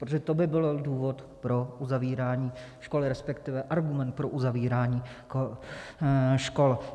Protože to by byl důvod pro uzavírání škol, respektive argument pro uzavírání škol.